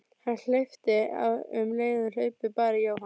Hann hleypti af um leið og hlaupið bar í Jóhann.